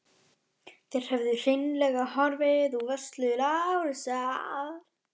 Þær höfðu hreinlega horfið úr vörslu Lárusar.